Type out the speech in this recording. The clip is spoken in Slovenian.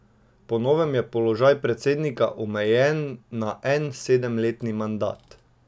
Po novem je položaj predsednika omejen na en sedemletni mandat.